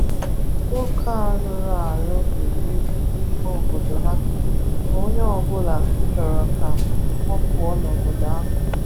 Nwoke a rụrụ arụ buru ibu n’ime obodo ha, ma onye ọ bụla chọrọ ka ọ pụọ n’obodo ahụ.